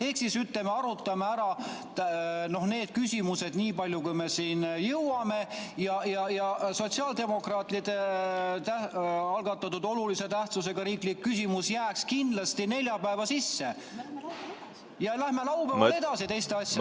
Ehk siis, ütleme, arutame ära need küsimused nii palju, kui me siin jõuame, sotsiaaldemokraatide algatatud olulise tähtsusega riiklik küsimus jääks kindlasti neljapäeva sisse ja laupäeval läheme edasi teiste asjadega.